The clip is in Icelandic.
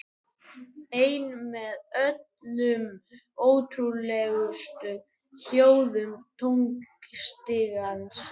Ein með öllum ótrúlegustu hljóðum tónstigans.